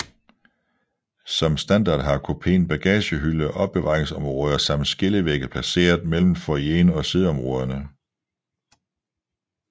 Som standard har kupéen bagagehylde og opbevaringsområder samt skillevægge placeret mellem foyeren og siddeområderne